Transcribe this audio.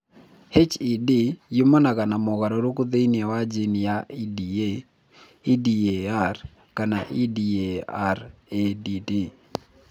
HED yumanaga na mogarũrũku thĩinĩ wa jini cia EDA, EDAR, kana EDARADD.